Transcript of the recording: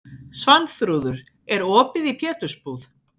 Svanþrúður, er opið í Pétursbúð?